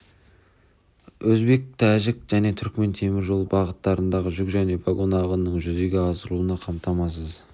мен өзбек тәжік және түрікмен темір жолы бағыттарындағы жүк және вагон ағынының жүзеге асырылуын қамтамасыз